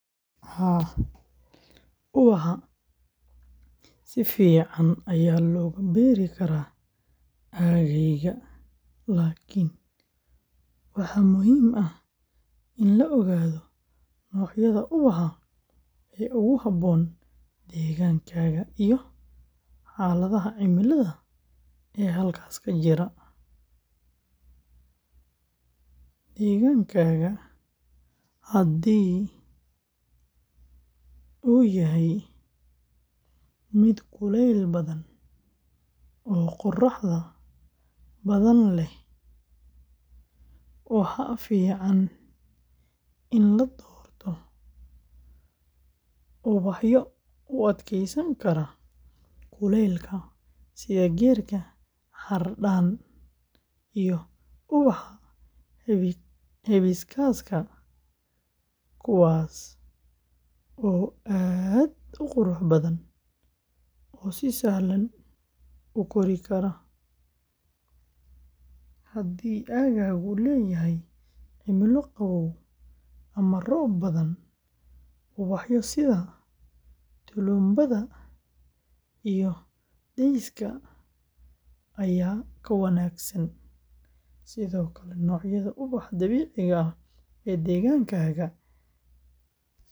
Haa, ubaxa si fiican ayaa looga beeri karaa aaggaaga, laakiin waxaa muhiim ah in la ogaado noocyada ubaxa ee ugu habboon deegaankaaga iyo xaaladaha cimilada ee halkaas ka jira. Deegaankaaga haddii uu yahay mid kuleyl badan oo qorraxda badan leh, waxaa fiican in la doorto ubaxyo u adkeysan kara kulaylka sida geedka xardhan iyo ubaxa hibiscus-ka, kuwaas oo aad u qurux badan oo si sahlan u kori kara. Haddii aaggaagu leeyahay cimilo qabow ama roob badan, ubaxyo sida tulumbada iyo daisy-ga ayaa ka wanaagsan. Sidoo kale, noocyada ubaxa dabiiciga ah ee deegaankaaga ka baxa.